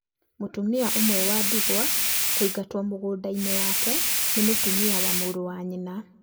Mũtumia ũmwe wa ndigwa kũingatwo mũgũnda-inĩ wake nĩ mũtumia wa mũrũ wa nyina